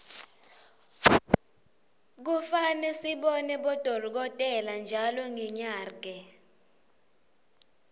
kufane sibone bodolkotela ntjalo ngenyarge